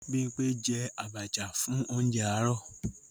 Bímpé je àbàchà fún óuńjẹ àárọ̀